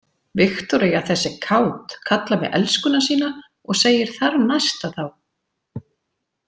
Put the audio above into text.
Viktoría þessi er kát, kallar mig elskuna sína og segir þarnæsta þá.